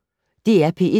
DR P1